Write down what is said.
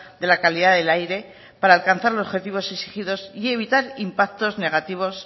de la calidad del aire para alcanzar los objetivos exigidos y evitar impactos negativos